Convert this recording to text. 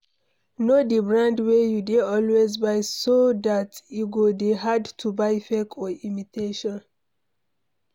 Know di brand wey you dey always buy so dat e go dey hard to buy fake or imitation